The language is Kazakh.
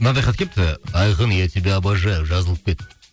мынадай хат келіпті айқын я тебя обожаю жазылып кет